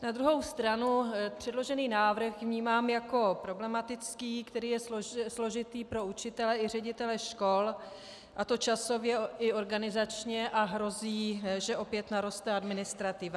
Na druhou stranu předložený návrh vnímám jako problematický, který je složitý pro učitele i ředitele škol, a to časově i organizačně, a hrozí, že opět naroste administrativa.